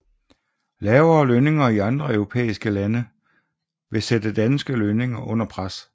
Lavere lønninger i andre europæiske lande ville sætte danske lønninger under pres